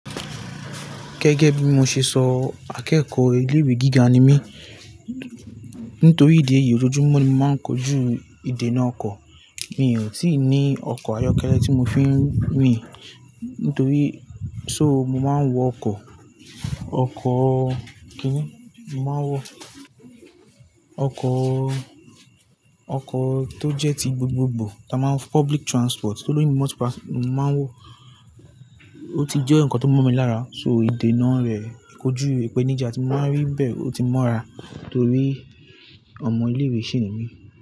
Gẹ́gẹ́ bí mo ṣe sọ akẹ́kọ̀ọ́ ilé ìwé gíga ni mí. Nítorí ìdí èyí ójojúmọ́ ni màá ń kojú ìdènà ọkọ̀. Mi ò tíì ní ọkọ̀ ayọ́kẹ́lẹ́ tí mo fi ń rìn. Nítorí so mo máa ń wọ ọkọ̀, ọkọ̀ kíni? Mo máa ń wọ, ọkọ̀, ọkọ̀ tó jẹ́ ti gbogbogbò táa máa ń wọ public transport tóoloyinbo mo si oun mo màá ń wọ. Ó t jẹ́ nǹkan tó mọ̀ mi lára so ìdènà rẹ̀, kójú, ìpèníjà tí mo máa ń rí bẹ́ẹ̀, ó ti mọ́ra torí ọmọ ilé ìwé sì ni mí.